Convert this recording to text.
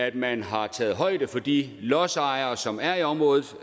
at man har taget højde for de lodsejere som er i området